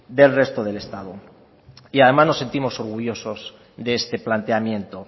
del resto del estado y además nos sentimos orgullosos de este planteamiento